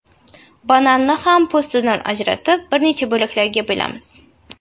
Bananni ham po‘stidan ajratib, bir necha bo‘laklarga bo‘lamiz.